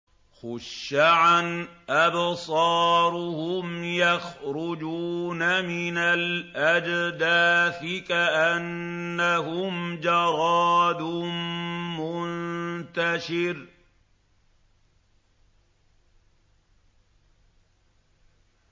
خُشَّعًا أَبْصَارُهُمْ يَخْرُجُونَ مِنَ الْأَجْدَاثِ كَأَنَّهُمْ جَرَادٌ مُّنتَشِرٌ